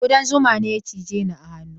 Kudan zuma ne ya cije ni a hannu.